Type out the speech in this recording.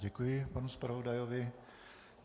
Děkuji panu zpravodajovi.